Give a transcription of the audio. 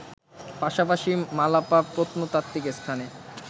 পাশাপাশি মালাপা প্রত্নতাত্ত্বিক স্থানে